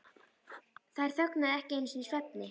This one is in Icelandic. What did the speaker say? Þær þögnuðu ekki einu sinni í svefni.